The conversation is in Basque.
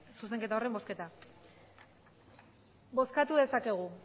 zuzenketa horren bozketa bozkatu dezakegu